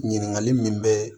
Ɲininkali min bɛɛ